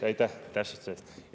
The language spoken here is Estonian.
Aitäh täpsustuse eest!